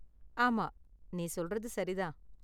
ஆமா, நீ சொல்றது சரி தான்.